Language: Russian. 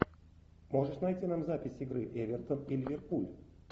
можешь найти нам запись игры эвертон и ливерпуль